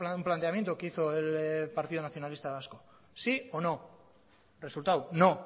un planteamiento que hizo el partido nacionalista vasco sí o no resultado no